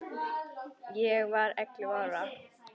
Ég var ellefu ára.